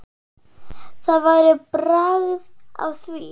Það væri bragð af því!